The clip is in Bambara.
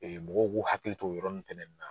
mɔgɔw k'u hakili t'o yɔrɔ nun fɛnɛ na.